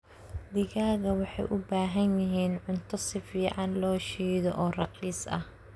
Digaagga waxay u baahan yihiin cunto si fiican loshiidho oo raqiis ah.